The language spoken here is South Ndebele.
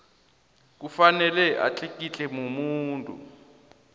kufanele atlikitlwe mumuntu